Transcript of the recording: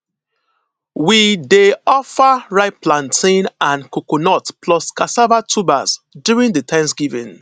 we dey offer ripe plantain and coconut plus cassava tubers during di thanksgiving